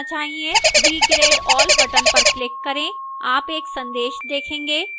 regrade all button पर click करें